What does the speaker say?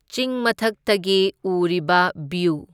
ꯆꯤꯡ ꯃꯊꯛꯇꯒꯤ ꯎꯔꯤꯕ ꯕ꯭ꯌꯨ꯫